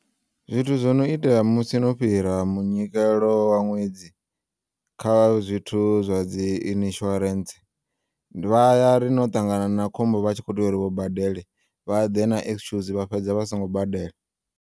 Zwithu zwono itea musi no fhira munyikelo wa ṅwedzi, kha zwithu zwa dzi insurance, vha yari no ṱangana na khombo vha tshi kho tea uri vha badele, vha ḓe na excuse vha fhedza vha songo badela.